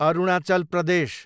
Arunachal Pradesh